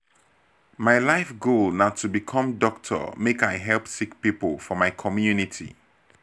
my life goal na to become doctor make i help sick pipo for my community.